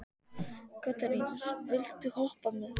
Katarínus, viltu hoppa með mér?